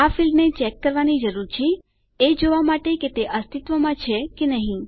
આ ફીલ્ડને ચેક કરવાની જરૂર છે એ જોવા માટે કે તે અસ્તિત્વમાં છે કે નહી